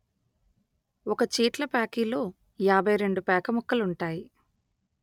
ఒక చీట్లప్యాకిలో యాభై రెండు పేకముక్కలుంటాయి